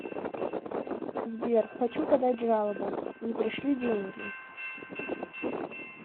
сбер хочу подать жалобу не пришли деньги